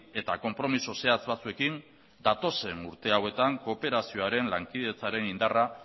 eta konpromiso zehatz batzuekin datozen urte hauetan kooperazioaren lankidetzaren indarra